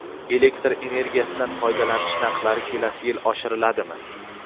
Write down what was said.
Elektr energiyasidan foydalanish narxlari kelasi yil oshiriladimi?.